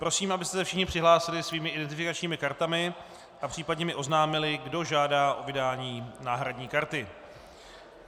Prosím, abyste se všichni přihlásili svými identifikačními kartami a případně mi oznámili, kdo žádá o vydání náhradní karty.